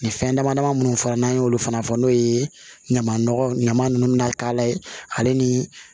Ni fɛn dama dama munnu fɔra n'an y'olu fana fɔ n'o ye ɲama nɔgɔ ɲama nunnu bɛna k'a la ale ni